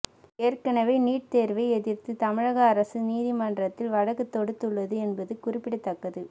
ஏற்கனவே நீட் தேர்வை எதிர்த்து தமிழக அரசு நீதிமன்றத்தில் வழக்கு தொடுத்துள்ளது என்பது குறிப்ப்பிடத்தக்கது